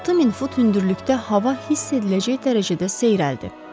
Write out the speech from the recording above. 6000 fut hündürlükdə hava hiss ediləcək dərəcədə seyrəldi.